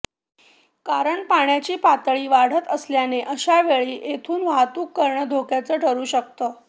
कारण पाण्याची पातळी वाढत असल्याने अशावेळी येथून वाहतूक करणं धोक्याचं ठरु शकतं